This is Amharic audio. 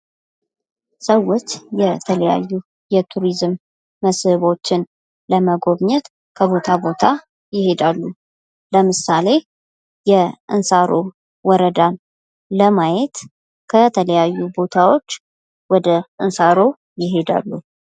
ሰዎች የተለያዩ የቱሪዝም ቦታዎችን ለማየት ወደ ተለያዩ ቦታዎች ይሄዳሉ። ለምሳሌ የእንሳሮ ወረዳን ለማየት ውድ እንሳሮ ይሄዳሉ።